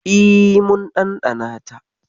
E, mun ɗanɗana ta.